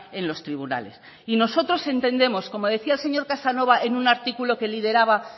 en los tribunales y nosotros entendemos como decía el señor casanova en un artículo que lideraba